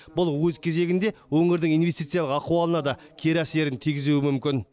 бұл өз кезегінде өңірдің инвестициялық ахуалына да кері әсерін тигізуі мүмкін